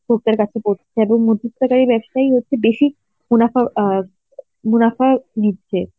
খদ্দের কাছে পৌঁছে যায় এবং মধ্যস্থতা এই ব্যবসায়ী হচ্ছে বেশি মুনাফা অ্যাঁ মুনাফা নিচ্ছে.